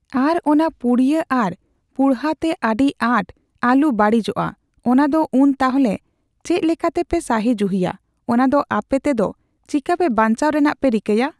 ᱟᱨ ᱚᱱᱟ ᱯᱩᱲᱭᱟᱹ ᱚᱱᱟ ᱯᱩᱲᱦᱟᱹ ᱛᱮ ᱟᱰᱤ ᱟᱸᱴ ᱟᱞᱩ ᱵᱟᱲᱤᱡᱚᱜᱼᱟ ᱚᱱᱟ ᱫᱚ ᱩᱱ ᱛᱟᱦᱞᱮ ᱪᱮᱜ ᱞᱮᱠᱟᱛᱮᱯᱮ ᱥᱟᱦᱤᱡᱩᱦᱤᱭᱟ, ᱚᱱᱟ ᱫᱚ ᱟᱯᱮ ᱛᱮᱫᱚ ᱪᱤᱠᱟᱯᱮ ᱵᱟᱧᱪᱟᱣ ᱨᱮᱱᱟᱜ ᱯᱮ ᱨᱤᱠᱟᱹᱭᱟ ?